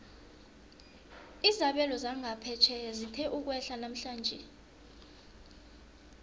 izabelo zangaphetjheya zithe ukwehla namhlanje